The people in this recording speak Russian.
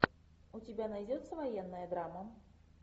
у тебя найдется военная драма